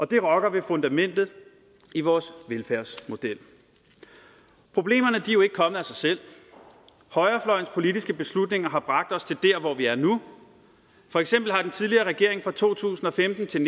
det rokker ved fundamentet i vores velfærdsmodel problemerne er jo ikke kommet af sig selv højrefløjens politiske beslutninger har bragt os til der hvor vi er nu for eksempel har den tidligere regering fra to tusind og femten til